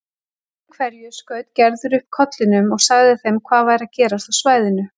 Öðru hverju skaut Gerður upp kollinum og sagði þeim hvað væri að gerast á svæðinu.